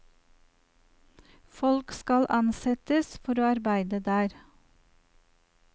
Folk skal ansettes for å arbeide der.